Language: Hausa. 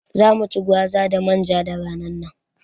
Za mu ci gwaza da manja da ranar nan